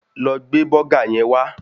Lọ gbé bọ́gà yẹn wá